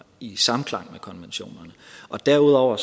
i samklang med konventionerne og derudover